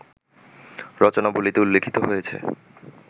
রচনাবলিতে উল্লিখিত হয়েছে